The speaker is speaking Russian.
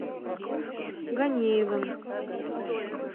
ганеевым